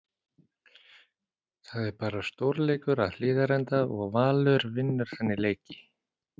Það er bara stórleikur að Hlíðarenda og Valur vinnur þannig leiki.